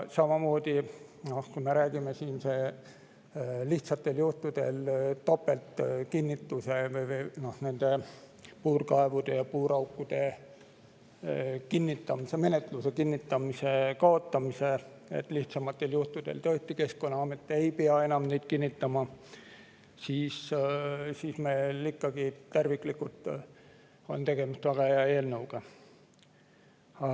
Samamoodi, kui me räägime siin topeltkinnitusest, et puurkaevude ja puuraukude kinnitamismenetluse puhul lihtsamatel juhtudel tõesti Keskkonnaamet ei pea enam seda kinnitama, siis meil terviklikult on tegemist ikkagi väga hea eelnõuga.